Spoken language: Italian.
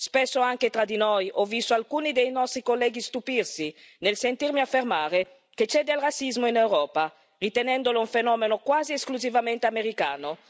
Spesso, anche tra di noi, ho visto alcuni dei nostri colleghi stupirsi nel sentirmi affermare che c'è del razzismo in Europa, ritenendolo un fenomeno quasi esclusivamente americano.